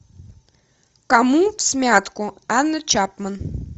кому всмятку анна чапман